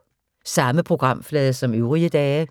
Samme programflade som øvrige dage